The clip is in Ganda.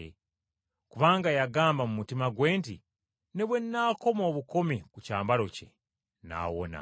Kubanga y’agamba mu mutima gwe nti, “Ne bwe nnaakoma obukomi ku kyambalo kye nnaawona.”